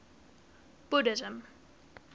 buddhism